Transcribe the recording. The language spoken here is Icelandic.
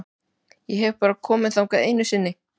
Ég hef bara komið þangað einu sinni.